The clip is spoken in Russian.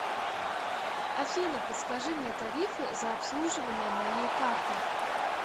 афина подскажи мне тарифы за обслуживание моей карты